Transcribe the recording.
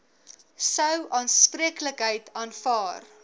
sou aanspreeklikheid aanvaar